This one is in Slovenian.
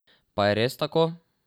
Pa je res tako?